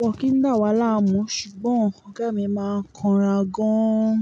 wọ́n kì í dà wa láàmú, ṣùgbọ́n ọ̀gá mi máa ń kanra gan-an.